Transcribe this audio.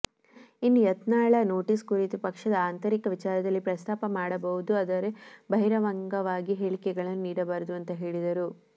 ಇನ್ನು ಯತ್ನಾಳ ನೋಟಿಸ್ ಕುರಿತು ಪಕ್ಷದ ಆಂತರಿಕ ವಿಚಾರದಲ್ಲಿ ಪ್ರಸ್ತಾಪ ಮಾಡುಬಹುದು ಆದರೆ ಬಹಿರಂಗವಾಗಿ ಹೇಳಿಕೆಗಳನ್ನು ನೀಡಬಾರದು ಅಂತಾ ಹೇಳಿದರು